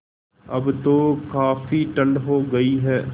अब तो काफ़ी ठण्ड हो गयी है